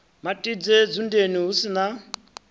matidze dzundeni hu si na